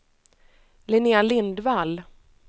Linnea Lindvall